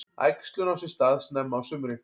Æxlun á sér stað snemma á sumrin.